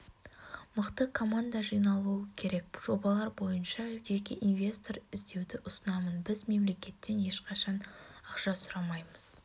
мықты команда жиналуы керек жобалар боынша жеке инвестор іздеуді ұсынамын біз мемлекеттен ешқашан ақша сұрамаймыз